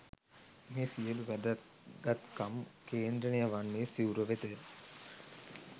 මේ සියලු වැදගත්කම් කේන්ද්‍රණය වන්නේ සිවුර වෙතය.